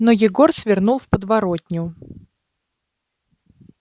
но егор свернул в подворотню